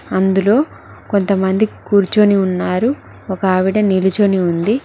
అందులో కొంతమంది కూర్చొని ఉన్నారు ఒకావిడ నిలుచొని ఉంది.